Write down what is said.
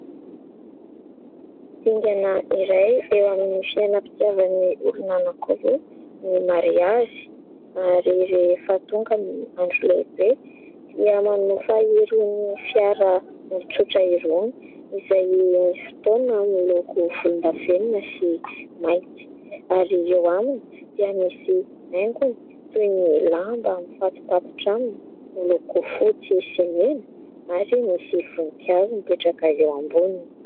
Dingana iray eo amin'ny fiainam-pitiavan'ny olona roa ny mariazy, ary rehefa tonga ny andro lehibe dia manofa irony fiara tsotra irony izay misy fotoana miloko volondavenona sy mainty ary eo aminy dia misy haingony toy ny lamba mifatopatotra aminy miloko fotsy sy mena ary misy voninkazo mipetraka eo amboniny.